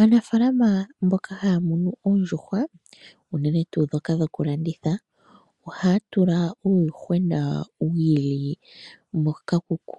Aanafaalama mboka haya munu oondjuhwa unene tuu ndhoka dhokulandithwa ohaya tula uuyuhwena wi ili le moshikuku,